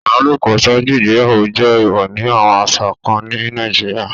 Ibalopo ṣaaju igbeyawo jẹ eewọ ni awọn aṣa kan ni Nàìjíríà